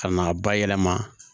Ka na bayɛlɛma